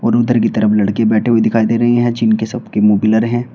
और उधर की तरफ लड़के बैठे हुए दिखाई दे रही हैं जिनकी सब के मुंह ब्लर हैं।